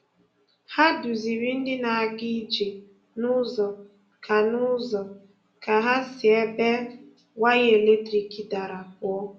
Hà duzìrì̀ ndị na-aga ije n’ụzọ ka n’ụzọ ka hà si ebe waya eletrik darà pụọ̀.